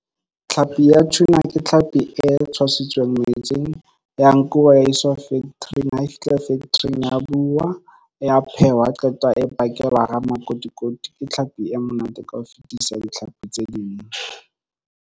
Tlhapi ya tuna ke tlhapi e tshwasitsweng metsing ya nkuwa e iswa factory-ing ha e fihla factory-ing ya buwa ya phehwa ha qeta e pakelwa hara makotikoti ke tlhapi e monate ka ho fetisisa ditlhapi tse ding.